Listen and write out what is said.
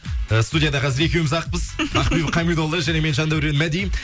э студияда қазір екеуміз ақпыз ақбибі қамидолла және мен жандаурен мади